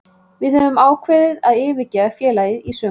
Við höfum ákveðið að yfirgefa félagið í sumar.